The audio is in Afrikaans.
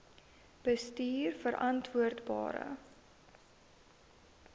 bestuurverantwoordbare